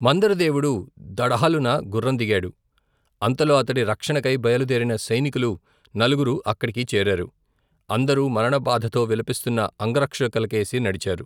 మందరదేవుడు దఢాలున గుర్రం దిగాడు అంతలో అతడి రక్షణకై బయలుదేరిన సైనికులు నలుగురు అక్కడికి చేరారు అందరూ మరణబాధతో విలపిస్తున్న అంగరక్షకులకేసి నడిచారు.